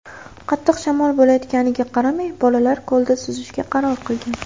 Qattiq shamol bo‘layotganiga qaramay, bolalar ko‘lda suzishga qaror qilgan.